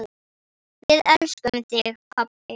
Við elskum þig pabbi.